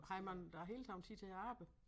Har man der hele tiden tid til at arbejde